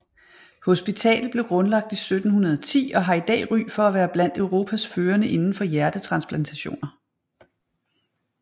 Hospitalet blev grundlagt i 1710 og har i dag ry for at være blandt Europas førende inden for hjertetransplantationer